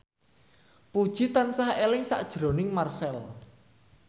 Puji tansah eling sakjroning Marchell